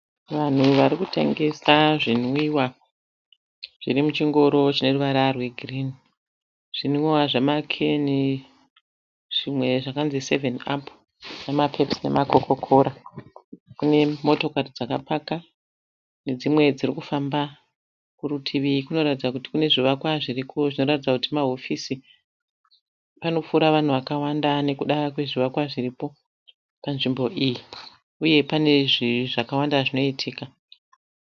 Vanhu vari kutengesa zvinwiwa zviri muchingoro cheruvara rwegirini. Zvimwiwa zvamakeni zvimwe zvakanzi sevheni apu nemapepusi nemakokokora. Kune motokari dzakapaka nedzimwe dziri kufamba. Kurutivi kunoratidza kuti kune zvivakwa zviriko zvinoratidza kuti mahofisi. Panopfuura vanhu vakawanda nekuda kwezvivakwa zviripo panzvimbo iyi uye pane zvinhu zvakawanda zvinoitika.